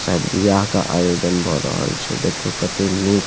शायद ब्याह के आयोजन भ रहल छै देखियो कते निक --